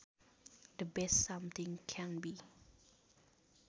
The best something can be